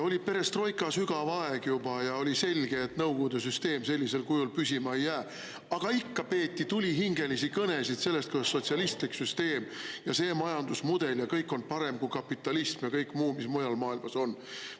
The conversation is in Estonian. Oli perestroika sügav aeg juba ja oli selge, et nõukogude süsteem sellisel kujul püsima ei jää, aga ikka peeti tulihingelisi kõnesid sellest, kuidas sotsialistlik süsteem ja see majandusmudel ja kõik on parem kui kapitalism ja kõik muu, mis mujal maailmas on.